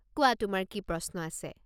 কোৱা, তোমাৰ কি প্ৰশ্ন আছে?